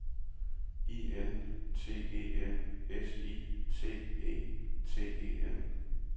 I N T E N S I T E T E N